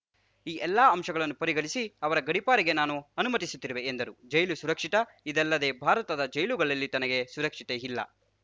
ಈ ಎಲ್ಲ ಅಂಶಗಳನ್ನು ಪರಿಗಣಿಸಿ ಅವರ ಗಡೀಪಾರಿಗೆ ನಾನು ಅನುಮತಿಸುತ್ತಿರುವೆ ಎಂದರು ಜೈಲು ಸುರಕ್ಷಿತ ಇದಲ್ಲದೆ ಭಾರತದ ಜೈಲುಗಳಲ್ಲಿ ತನಗೆ ಸುರಕ್ಷತೆ ಇಲ್ಲ